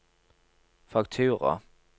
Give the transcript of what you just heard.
faktura